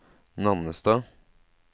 Nannestad